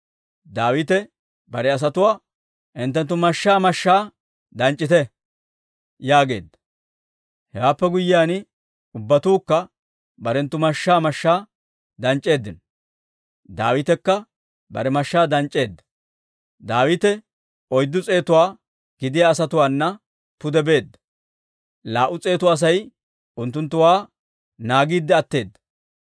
Daawite bare asatuwaa, «Hinttenttu mashshaa mashshaa danc'c'ite» yaageedda; hewaappe guyyiyaan ubbatuukka barenttu mashshaa mashshaa danc'c'eeddino; Daawitekka bare mashshaa danc'c'eedda. Daawite oyddu s'eetuwaa gidiyaa asatuwaana pude beedda; laa"u s'eetu Asay unttunttuwaa naagiidde atteedda.